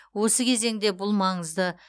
осы кезеңде бұл маңызды